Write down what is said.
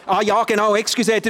Ach ja, entschuldigen Sie: